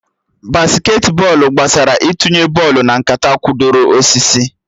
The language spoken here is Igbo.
Basketị bọọlụ gbasara itunye bọlụ na nkata kwụdoro osisi